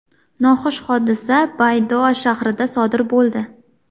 Noxush hodisa Baydoa shahrida sodir bo‘ldi.